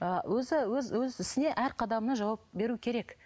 ыыы өз ісіне әр қадамына жауап беру керек